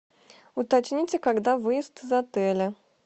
уточните когда выезд из отеля